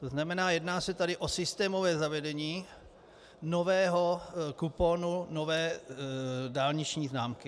To znamená, jedná se tady o systémové zavedení nového kuponu, nové dálniční známky.